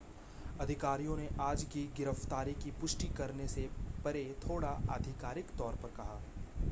अधिकारियों ने आज की गिरफ्तारी की पुष्टि करने से परे थोडा आधिकारिक तौर पर कहा